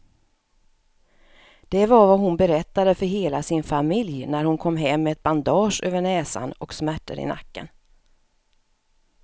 Det var vad hon berättade för hela sin familj när hon kom hem med ett bandage över näsan och smärtor i nacken.